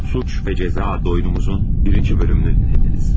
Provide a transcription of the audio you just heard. Suç ve Cəza doymumuzun birinci bölümünü dinlediniz.